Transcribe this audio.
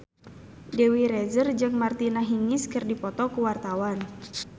Dewi Rezer jeung Martina Hingis keur dipoto ku wartawan